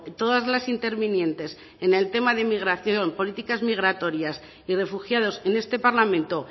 todas las intervinientes en el tema de inmigración políticas migratorias y refugiados en este parlamento